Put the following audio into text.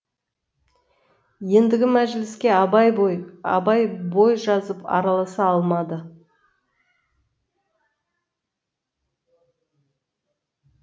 ендігі мәжіліске абай бой жазып араласа алмады